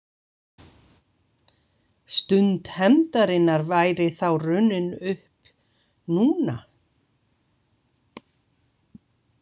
Stund hefndarinnar væri þá runnin upp núna?